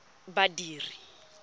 badiri